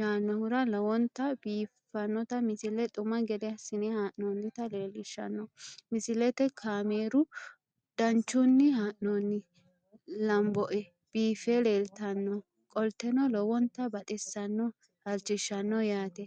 yaannohura lowonta biiffanota misile xuma gede assine haa'noonnita leellishshanno misileeti kaameru danchunni haa'noonni lamboe biiffe leeeltannoqolten lowonta baxissannoe halchishshanno yaate